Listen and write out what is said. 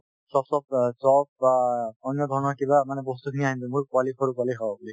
চপচপ অ chop বা অন্যধৰণৰ কিবা মানে বস্তুখিনি আনিলো মোৰ পোৱালি সৰু পোৱালি খাব বুলি